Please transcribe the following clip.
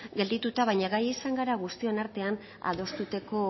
geldituta baina gai izan gara guztion artean adostuteko